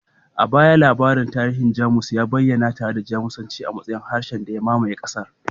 A baya, labarin tarihi na Jamus ya bayyana tare da Jamusanci a matsayin harshen da ya mamaye ƙasar